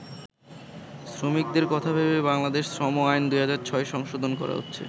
শ্রমিকদের কথা ভেবেই বাংলাদেশ শ্রম আইন ২০০৬ সংশোধন করা হচ্ছে।